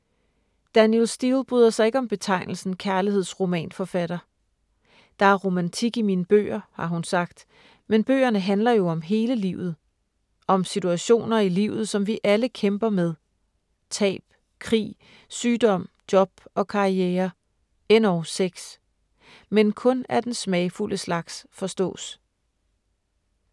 Danielle Steel bryder sig ikke om betegnelsen kærlighedsromanforfatter. Der er romantik i mine bøger, har hun sagt, men bøgerne handler jo om hele livet: Om situationer i livet som vi alle kæmper med: tab, krig, sygdom, job og karriere. Endog sex. Men kun af den smagfulde slags forstås.